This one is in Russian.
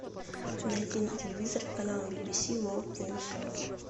найди на телевизоре канал би би си ворлд ньюс